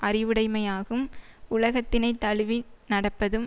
அறிவுடைமையாகும் உலகத்தினைத் தழுவி நடப்பதும்